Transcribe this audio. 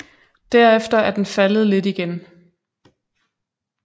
Derefter er den faldet lidt igen